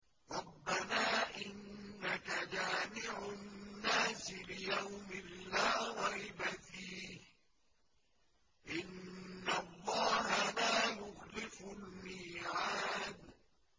رَبَّنَا إِنَّكَ جَامِعُ النَّاسِ لِيَوْمٍ لَّا رَيْبَ فِيهِ ۚ إِنَّ اللَّهَ لَا يُخْلِفُ الْمِيعَادَ